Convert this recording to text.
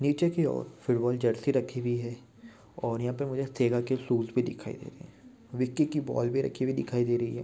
नीचे की और फूटबॉल जर्सी रखी हुई है। और यहा पे मुझे थेला के शुज भी दिखाई दे रहे है। विकी की बॉल भी राखी हुई दिखाई दे रही है।